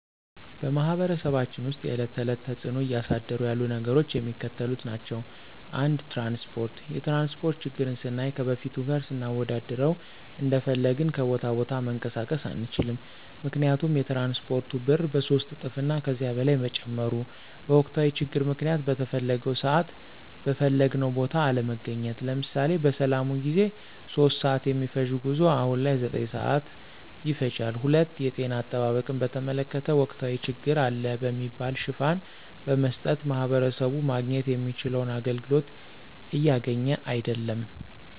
በማህበረሰባችን ውስጥ የዕለት ተዕለት ተፅዕኖ እያሳደሩ ያሉ ነገሮች የሚከተሉት ናቸው። ፩) ትራንስፓርት፦ የትራንስፓርት ችግርን ስናይ ከበፊቱ ጋር ስናወዳድረው እንደፈለግን ከቦታ ቦታ መንቀሳቀስ አንችልም ምክንያቱም የትራንስፓርቱ ብር በሶስት እጥፍ እና ከዚያ በላይ መጨመሩ፤ በወቅታዊ ችግር ምክንያት በተፈለገው ስዓት በፈለግንው ቦታ አለመገኘት። ለምሳሌ፦ በሰላሙ ጊዜ 3:00 ስዓት የሚፈጅው ጉዞ አሁን ላይ 9:00 ስዓት ይፈጃል። ፪) የጤና አጠባበቅን በተመለከተ ወቅታዊ ችግር አለ በሚል ሽፋን በመስጠት ማህበረሰቡ ማግኘት የሚችለውን አገልግሎት እያገኘ አይድለም።